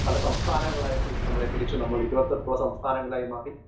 Speaker 1 പല സംസ്ഥാനങ്ങളായിട്ട് നമ്മളെ തിരിച്ച് നമ്മളിരുപത്തെട്ടു സംസ്ഥാനങ്ങളായി മാറി.